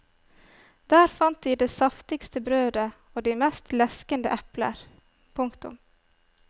Der fant de det saftigste brødet og de mest leskende epler. punktum